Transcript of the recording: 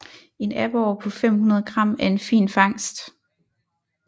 En aborre på 500 g er en fin fangst